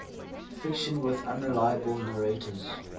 fiction with unreliable narrators